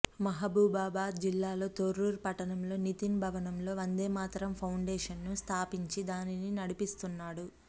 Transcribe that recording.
మహబూబాబాద్ జిల్లా లో తొర్రూరు పట్టణంలోని నితిన్ భవన్ లొ వందేమాతరం ఫౌండేషన్ ను స్థాపించి దానిని నడిపిస్తున్నాడు